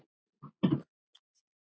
Dóttir þeirra er Sara, nemi.